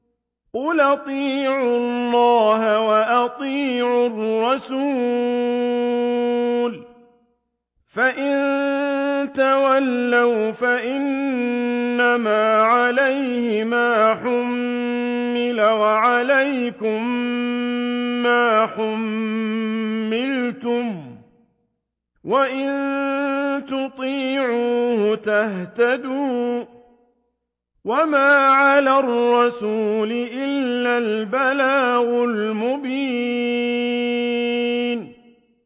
قُلْ أَطِيعُوا اللَّهَ وَأَطِيعُوا الرَّسُولَ ۖ فَإِن تَوَلَّوْا فَإِنَّمَا عَلَيْهِ مَا حُمِّلَ وَعَلَيْكُم مَّا حُمِّلْتُمْ ۖ وَإِن تُطِيعُوهُ تَهْتَدُوا ۚ وَمَا عَلَى الرَّسُولِ إِلَّا الْبَلَاغُ الْمُبِينُ